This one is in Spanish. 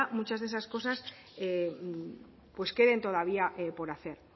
muchas de esas cosas queden todavía por hacer